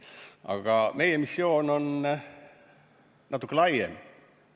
Aga meie missioon on natuke laiem.